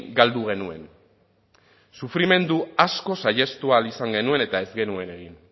galdu genuen sufrimendu asko saihestu ahal izan genuen eta ez genuen egin